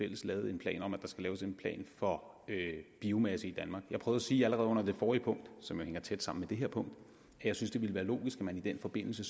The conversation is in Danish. lavet en plan om at der skal laves en plan for biomasse i danmark jeg prøvede at sige allerede under det forrige punkt som hænger tæt sammen med det her punkt at jeg synes det ville være logisk at man i den forbindelse